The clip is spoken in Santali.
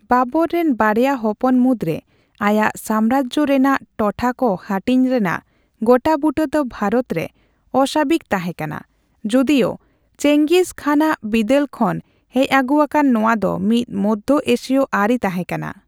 ᱵᱟᱵᱚᱨ ᱨᱮᱱ ᱵᱟᱨᱭᱟ ᱦᱚᱯᱚᱱ ᱢᱩᱫᱨᱮ ᱟᱭᱟᱜ ᱥᱟᱢᱨᱟᱡᱽ ᱨᱮᱱᱟᱜ ᱴᱚᱴᱷᱟᱠᱚ ᱦᱟᱹᱴᱤᱧ ᱨᱮᱱᱟᱜ ᱜᱚᱴᱟᱵᱩᱴᱟᱹ ᱫᱚ ᱵᱷᱟᱨᱚᱛ ᱨᱮ ᱚᱼᱥᱟᱹᱵᱤᱠ ᱛᱟᱸᱦᱮ ᱠᱟᱱᱟ, ᱡᱩᱫᱤᱳ ᱪᱮᱝᱜᱤᱥ ᱠᱷᱟᱱ ᱟᱜ ᱵᱤᱫᱟᱹᱞ ᱠᱷᱚᱱ ᱦᱮᱡ ᱟᱹᱜᱩ ᱟᱠᱟᱱ ᱱᱚᱣᱟ ᱫᱚ ᱢᱤᱫ ᱢᱚᱫᱷᱚ ᱮᱥᱤᱭᱚ ᱟᱹᱨᱤ ᱛᱟᱸᱦᱮ ᱠᱟᱱᱟ ᱾